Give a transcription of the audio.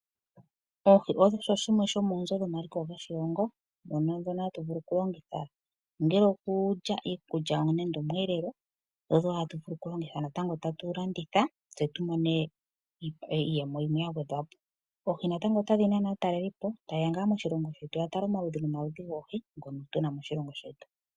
Oohi osho shimwe shomoonzo dhomaliko goshilongo ano ndhono hatu vulu oku longitha ongele okulya iikulya nande omweelelo, dho odho wo hatu vulu okulongitha natango tatu landitha tse tu mone iiyemo yimwe ya gwedhwa po. Oohi natango otadhi nana aatalelipo ta ye ya ngaa moshilongo shetu ya tale omaludhi nomaludhi goohi ngono tu na moshilongo shetu.